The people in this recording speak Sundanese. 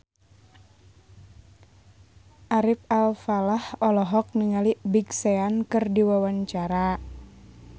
Ari Alfalah olohok ningali Big Sean keur diwawancara